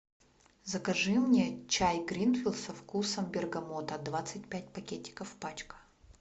закажи мне чай гринфилд со вкусом бергамота двадцать пять пакетиков пачка